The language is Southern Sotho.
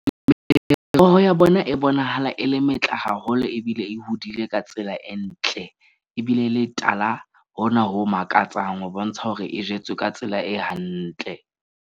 Meroho ya bona e bonahala e le metle haholo. Ebile e hodile ka tsela e ntle ebile e le tala hona ho makatsang ho bontsha hore e jetswe ka tsela e hantle.